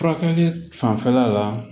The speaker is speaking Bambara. Furakɛli fanfɛla la